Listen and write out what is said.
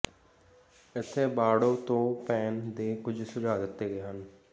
ਇੱਥੇ ਬਾਰਡੋ ਤੋਂ ਪੈਣ ਦੇ ਕੁਝ ਸੁਝਾਅ ਦਿੱਤੇ ਗਏ ਹਨ